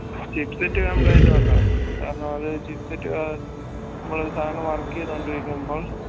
chipset complaint കൊണ്ടാണ് കാരണം അത് chipset ഏർ മ്മളൊരു സാനം work എയ്തോണ്ടിരിക്കുമ്പോ